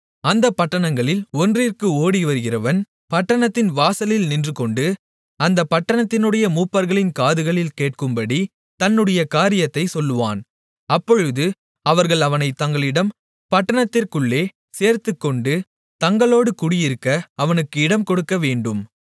அந்தப் பட்டணங்களில் ஒன்றிற்கு ஓடிவருகிறவன் பட்டணத்தின் வாசலில் நின்றுகொண்டு அந்தப் பட்டணத்தினுடைய மூப்பர்களின் காதுகளில் கேட்கும்படி தன்னுடைய காரியத்தைச் சொல்வான் அப்பொழுது அவர்கள் அவனைத் தங்களிடம் பட்டணத்திற்குள்ளே சேர்த்துக்கொண்டு தங்களோடு குடியிருக்க அவனுக்கு இடம் கொடுக்கவேண்டும்